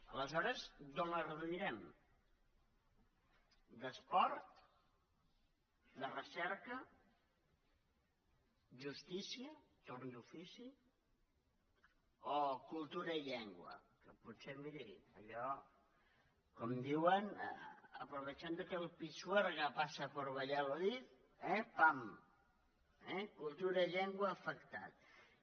aleshores d’on les reduirem d’esport de recerca justícia torn d’ofici o cultura i llengua que potser miri allò com diuen aprovechando que el pisuerga pasa por valladolid eh pam cultura i llengua afectades